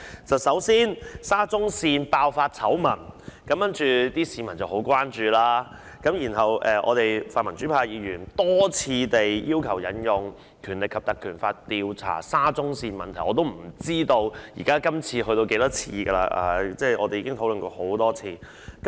首先，沙田至中環線爆發醜聞，市民十分關注，然後泛民主派議員多次要求引用《立法會條例》調查沙中線問題，我也不知道今次是第幾次，我們已就此問題討論很多次了。